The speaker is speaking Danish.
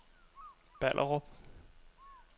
Ballerup